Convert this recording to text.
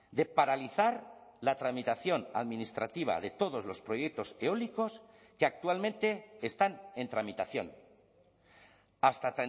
de paralizar la tramitación administrativa de todos los proyectos eólicos que actualmente están en tramitación hasta